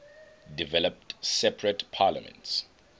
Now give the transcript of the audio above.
developed separate parliaments